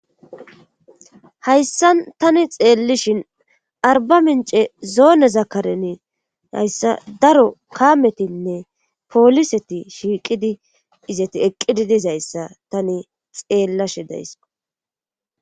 Hayssan tani xeellishin arba mince zoone zakaren hayssa daro kametinne pooliseti shiiqidi izati eqqidi dizayssa tani xeellashe days